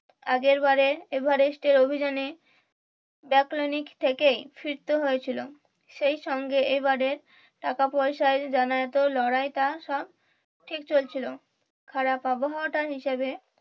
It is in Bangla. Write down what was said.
আগের বারের এভারেস্টের অভিযানের থেকেই ফিরতে হয়েছিল সেই সঙ্গে এবারের টাকা পয়সার লড়াইটা সব ঠিক চলছিল খারাপ আবহাওয়াটা হিসাবে